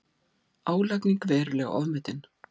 Álagning verulega ofmetin